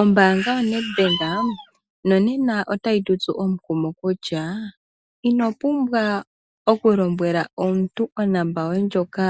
Ombaanga yoNedbank, nonena otayi tutsu omukumo kutsha, inopumbwa okulombwela omuntu onomola yoye ndjoka